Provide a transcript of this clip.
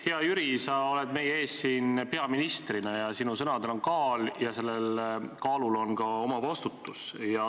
Hea Jüri, sa oled meie ees siin peaministrina, sinu sõnadel on kaal ja selle kaaluga kaasneb ka vastutus.